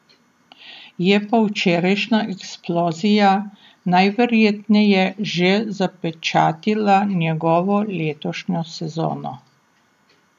Je pa včerajšnja eksplozija najverjetneje že zapečatila njegovo letošnjo sezono.